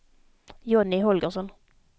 Johnny Holgersson